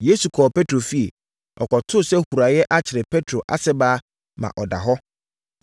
Yesu kɔɔ Petro fie. Ɔkɔtoo sɛ huraeɛ akyere Petro ase baa ma ɔda hɔ.